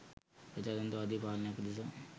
ප්‍රජාතන්ත්‍රවාදී පාලනයක් උදෙසා